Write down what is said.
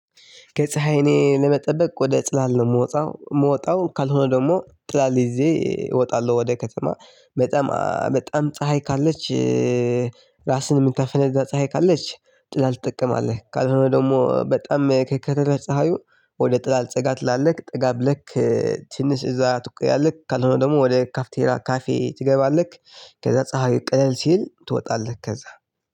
ከፀሀይ እኔ ለመጠበቅ ወደ ጥላ ነው የምወጣው የምወጣው ካልሆነ ደግሞ ጥላ ጊዜ እወጣለሁ ወደ ከተማ በጣም በጣም ፀሀይ ካለች። ራስህን የምታፈነዳ ፀሀይ ካለች ጥላ ትጠቀማለህ ካልሆነ ደግሞ በጣም ከከረረ ፀሀዩ ወደ ጥላ አልጸጋ ትላለህ ጠጋብለክ ትንሽ እዛ ትቆያለህ ካልሆነ ደግሞ ወደ ካፍቴራ ካፌ ትገባለህ። ከዛ ፀሀይ ቅልል ሲል ትወጣለህ ከዛ